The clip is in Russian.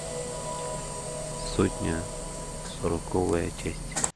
сотня сороковая часть